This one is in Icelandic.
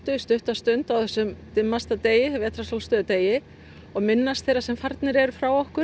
í stutta stund á þessum dimmasta degi degi og minnast þeirra sem farnir eru frá okkur